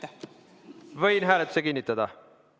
Kas võin hääletuse kinnitada?